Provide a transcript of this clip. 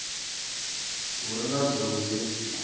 hu re na dzulo heḽi